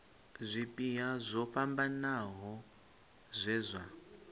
zwipia zwo fhambanaho zwe zwa